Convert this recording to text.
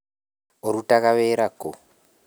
ũrũtaga wĩra kũ?